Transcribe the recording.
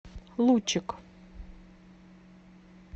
лучик